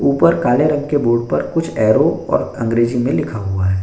ऊपर काले रंग के बोर्ड पर कुछ एरो और अंग्रेजी में लिखा हुआ है।